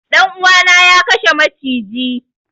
Dan uwa na ya kashe macijin.